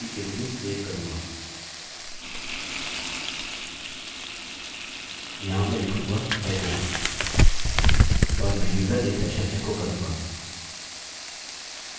यहाँ मैं लिखूँगा echo और मैं username session एको करूँगा